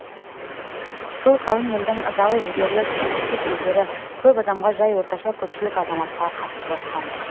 сол қалың елдің ызалы жігерлі күйінішті сөздері көп адамға жай орташа көпшілік азаматқа қатты батқан-ды